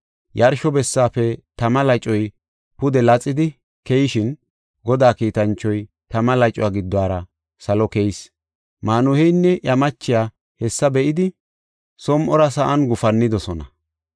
Yarsho bessaafe tama lacoy pude laxidi keyishin, Godaa kiitanchoy tama lacuwa giddora salo keyis. Maanuheynne iya machiya hessa be7idi som7ora sa7an gufannidosona.